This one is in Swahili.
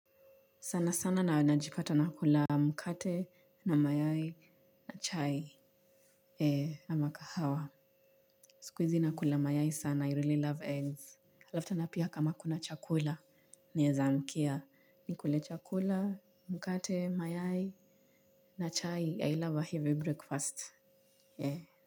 Sana sana na najipata nakula mkate na mayai na chai na ama kahawa. Sikuizi nakula mayai sana. I really love eggs. Alafu tena pia kama kuna chakula. Naeza amkia nikule chakula, mkate, mayai na chai. I love a heavy breakfast.